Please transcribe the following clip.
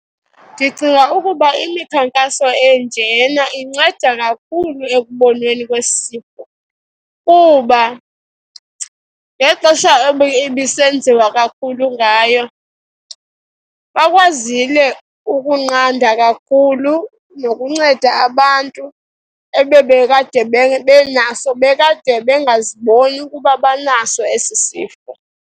Ndicinga ukuba imikhankaso enjena inceda kakhulu ekubonweni kwesi sifo kuba ngexesha ebisenziwa kakhulu ngayo, bakwazile ukunqanda kakhulu nokunceda abantu ebebekade benaso, bekade bengaziboni ukuba banaso esi sifo.